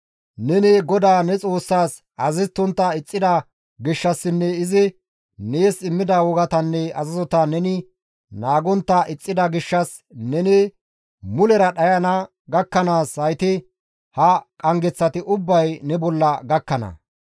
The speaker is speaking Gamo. Neni GODAA ne Xoossas azazettontta ixxida gishshassinne izi nees immida wogatanne azazota neni naagontta ixxida gishshas neni mulera dhayana gakkanaas hayti ha qanggeththati ubbay ne bolla gakkana.